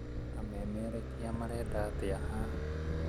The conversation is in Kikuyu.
Amemerekia marenda atĩa haha?